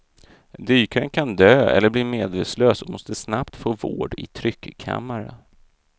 Dykaren kan dö eller bli medvetslös och måste snabbt få vård i tryckkammare.